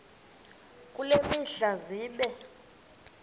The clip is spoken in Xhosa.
kule mihla zibe